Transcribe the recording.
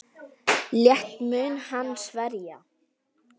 Létt mun hann að sverja.